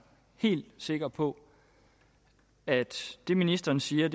helt sikker på at det ministeren siger